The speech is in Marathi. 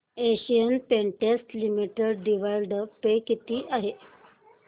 Asian Paints Limited dividend pay किती आहे